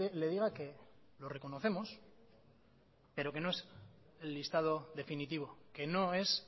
le diga que lo reconocemos pero que no es el listado definitivo que no es